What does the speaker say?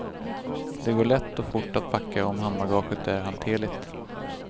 Det går lätt och fort att packa om handbagaget är hanterligt.